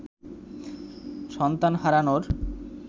সন্তান হারানোর